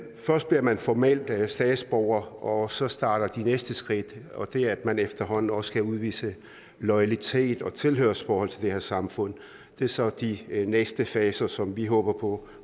først bliver man formelt statsborger og så starter de næste skridt og de er at man efterhånden også skal udvise loyalitet og tilhørsforhold til det her samfund det er så de næste faser som vi håber på